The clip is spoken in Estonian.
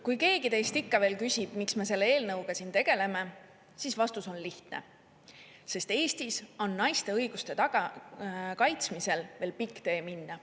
Kui keegi teist ikka veel küsib, miks me selle eelnõuga siin tegeleme, siis vastus on lihtne: sest Eestis on naiste õiguste kaitsmisel veel pikk tee minna.